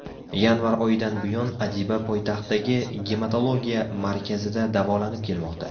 Yanvar oyidan buyon Adiba poytaxtdagi Gematologiya markazida davolanib kelmoqda.